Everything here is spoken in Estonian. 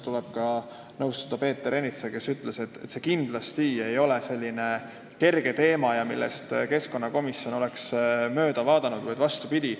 Tuleb nõustuda Peeter Ernitsaga, kes ütles, et see kindlasti ei ole kerge teema, millest keskkonnakomisjon oleks mööda vaadanud, vastupidi.